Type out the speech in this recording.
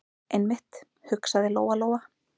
Einmitt, hugsaði Lóa- Lóa.